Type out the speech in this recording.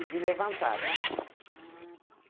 E de levantar, né? Ah, tá.